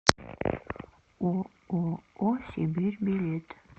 ооо сибирь билет